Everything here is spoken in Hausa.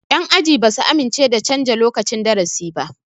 Yan aji ba su amince da canja lokacin darasi ba